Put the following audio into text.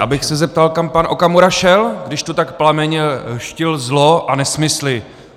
Já bych se zeptal, kam pan Okamura šel, když tu tak plamenně dštil zlo a nesmysly.